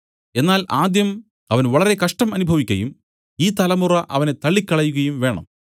എന്നാൽ ആദ്യം അവൻ വളരെ കഷ്ടം അനുഭവിക്കയും ഈ തലമുറ അവനെ തള്ളിക്കളകയും വേണം